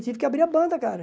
Tive que abrir a banda, cara.